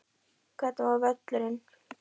Hvernig var völlurinn?